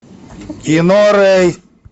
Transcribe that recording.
кино рэй